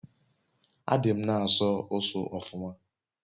adi m n'aso usu ofuma